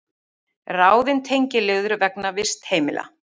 Ráðin tengiliður vegna vistheimila